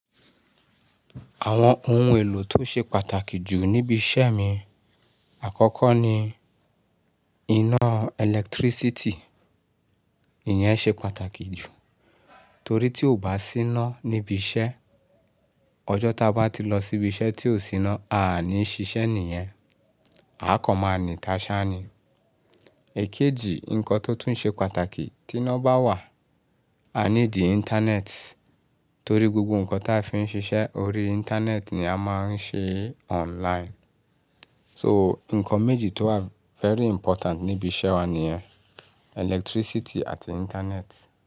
Àwọn ohun èlò tó ṣe pàtàkì jù níbi iṣẹ́ mi àkọ́kọ́ ni iná ẹlẹtírísítì, ìyẹn ṣe pàtàkì jù torí tí ò bá sí iná níbi iṣẹ́, ọjọ́ tá bá ti lọ síbi iṣẹ́ tí ò sí iná, a níí ṣiṣẹ́ nìyẹn, a kàn máa ní taṣá ni. Èkejì, ǹkan tó tún ṣe pàtàkì tí iná bá wà, a need íńtánẹ́ẹ̀tì torí gbogbo ǹkan tí a fi ń ṣiṣẹ́ orí íńtánẹ́ẹ̀tì ni a máa ń ṣe online. So, ǹkan méjì tó wà very important níbi iṣẹ́ wa nìyẹn, ẹlẹtírísítì àti íńtánẹ́ẹ̀tì.